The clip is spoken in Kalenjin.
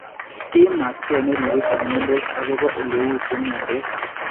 Imat key neripe chemyontos agopo eleu chemyontos